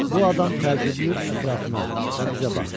Bu adam təəccüblü ətrafına və bizə baxdı.